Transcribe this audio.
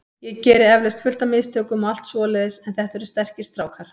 Ég geri eflaust fullt af mistökum og allt svoleiðis en þetta eru sterkir strákar.